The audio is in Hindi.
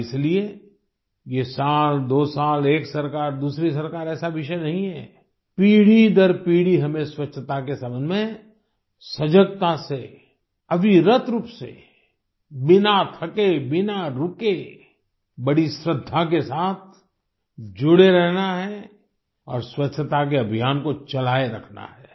और इसलिए ये सालदो साल एक सरकारदूसरी सरकार ऐसा विषय नहीं है पीढ़ी दर पीढ़ी हमें स्वच्छता के संबंध में सजगता से अविरत रूप से बिना थके बिना रुके बड़ी श्रद्धा के साथ जुड़े रहना है और स्वच्छता के अभियान को चलाए रखना है